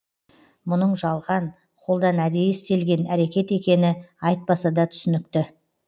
мұның жалған қолдан әдейі істелген әреткет екені айтпаса да түсінікті